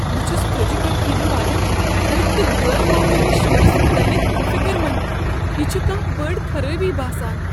بہٕ چھس فرٛجہِ پیٹھٕ ینہٕ والٮ۪ن تھٔدۍ تہٕ غٲر معموٗلی شورس متعلق فکر منٛد، یہ چھ کانٛہہ بٔڑ خرٲبی باسان۔